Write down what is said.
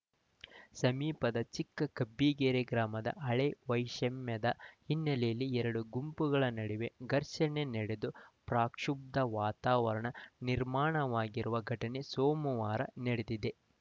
ಸಮೀಪದ ಚಿಕ್ಕ ಕಬ್ಬಿಗೆರೆ ಗ್ರಾಮದ ಹಳೇ ವೈಷಮ್ಯದ ಹಿನ್ನೆಲೆಯಲ್ಲಿ ಎರಡು ಗುಂಪುಗಳ ನಡುವೆ ಘರ್ಷಣೆ ನಡೆದು ಪ್ರಕ್ಷುಬ್ಧ ವಾತಾವರಣ ನಿರ್ಮಾಣವಾಗಿರುವ ಘಟನೆ ಸೋಮವಾರ ನಡೆದಿದೆ